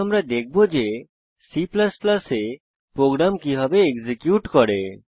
এখন আমরা দেখবো যে C এ প্রোগ্রাম কিভাবে এক্সিকিউট করে